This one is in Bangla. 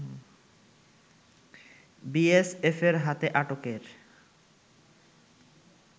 বিএসএফের হাতে আটকের